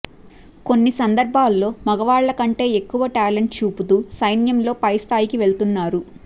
కొన్ని సందర్భాల్లో మగవాళ్లకంటే ఎక్కువ టాలెంట్ చూపుతూ సైన్యంలో పై స్థాయికి వెళుతున్నారు